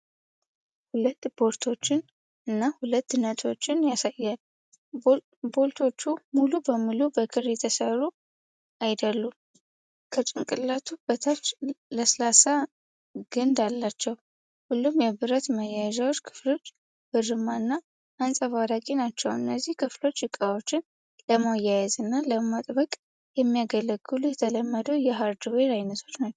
ሁለት ቦልቶችን እና ሁለት ነትዎችን ያሳያል፡፡ ቦልቶቹ ሙሉ በሙሉ በክር የተሰሩ አይደሉም፤ ከጭንቅላቱ በታች ለስላሳ ግንድ አላቸው፡፡ ሁሉም የብረት ማያያዣ ክፍሎች ብርማ እና አንጸባራቂ ናቸው፡፡ እነዚህ ክፍሎች ዕቃዎችን ለማያያዝ እና ለማጥበቅ የሚያገለግሉ የተለመዱ የሃርድዌር አይነቶች ናቸው።